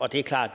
og det er klart at